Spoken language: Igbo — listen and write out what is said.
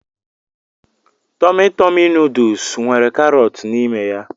Tọmi Tọmi nuduls nwere karọt n'ime ya.